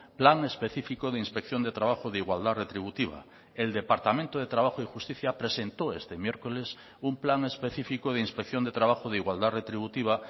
plan específico de inspección de trabajo de igualdad retributiva el departamento de trabajo y justicia presentó este miércoles un plan específico de inspección de trabajo de igualdad retributiva